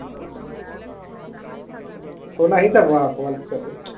phone আহি যাব আৰু অকমান পিছতে